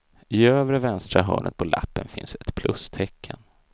I övre vänstra hörnet på lappen finns ett plustecken.